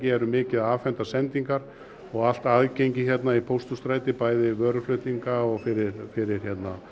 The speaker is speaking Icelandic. erum mikið að afhenda sendingar og allt aðgengi hérna í Pósthússtræti bæði vöruflutningar og fyrir